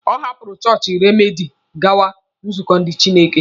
Ọ hapụrụ chọọchị Rediimdu gawa nzukọ ndị Chineke.